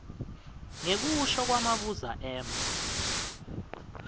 ngekusho kwamabuza m